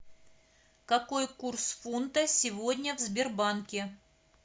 какой курс фунта сегодня в сбербанке